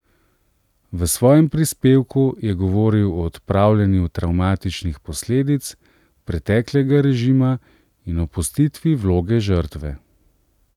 V svojem prispevku je govoril o odpravljanju travmatičnih posledic preteklega režima in opustitvi vloge žrtve.